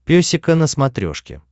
песика на смотрешке